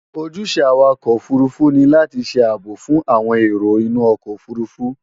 Ojúṣe Awakọ̀ òfurufú ni láti ṣe ààbò fún àwọn èrò inú ọkọ̀ òfurufú